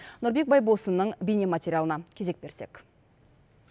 нұрбек байбосынның бейнематериалына кезек берсек